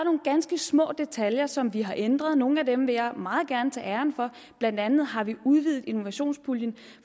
ganske små detaljer som vi har ændret nogle af dem vil jeg meget gerne tage æren for blandt andet har vi udvidet innovationspuljen